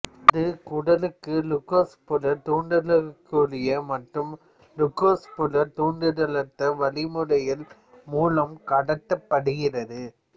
அது குடலுக்கு க்ளூக்கோஸ்புறத் தூண்டுதல்களுக்குரிய மற்றும் க்ளூக்கோஸ்புறத் தூண்டுதலற்ற வழிமுறைகள் மூலம் கடத்தப்படுகிறது